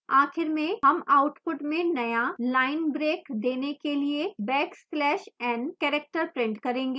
आखिर में हम output में नया line break देने के लिए backslash n character print करेंगे